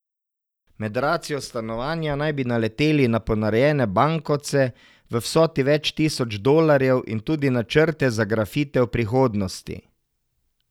Med racijo stanovanja naj bi naleteli na ponarejene bankovce v vsoti več tisoč dolarjev in tudi načrte za grafite v prihodnosti.